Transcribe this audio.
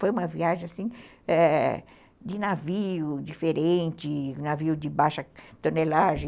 Foi uma viagem de navio diferente, navio de baixa tonelagem.